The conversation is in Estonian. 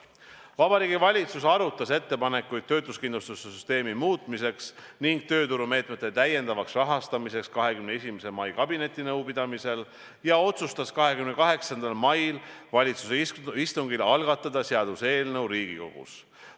" Vabariigi Valitsus arutas ettepanekuid töötuskindlustussüsteemi muutmiseks ning tööturumeetmete täiendavaks rahastamiseks 21. mai kabinetinõupidamisel ja otsustas 28. mai valitsuse istungil algatada seaduseelnõu Riigikogus.